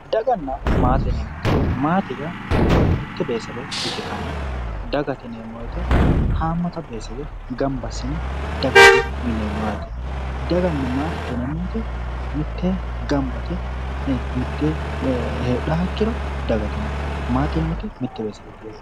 Daganna maate yineemmoti maate yaa mitte beetesebe ikkitanna dagate yineemmo wooyiite haammata beetesewe gamba assine dagate yineemmo yaate. daganna maatete yineemmoti mittee gamba yite mittee heedhaaha ikkiro daagate yineemmo. maate yineemmoti mitte beeteseweeti